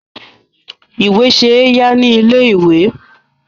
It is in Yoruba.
Ìwé ṣe é yá ní ilé-ìwé.